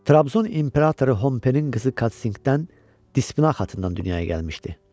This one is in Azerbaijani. Trabzon imperatoru Hompenin qızı Katkingdən Dispinə xatınından dünyaya gəlmişdi.